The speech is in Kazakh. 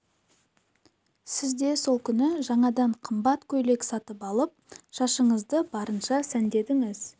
сіз де сол күні жаңадан қымбат көйлек сатып алып шашыңызды барынша сәндедіңіз